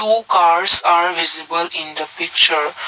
two cars are visible in the picture.